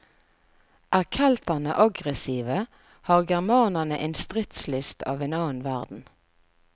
Er kelterne aggressive, har germanerne en stridslyst av en annen verden.